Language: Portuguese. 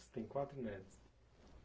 Você tem quatro netos.